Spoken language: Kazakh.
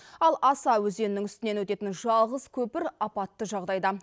ал аса өзенінің үстінен өтетін жалғыз көпір апатты жағдайда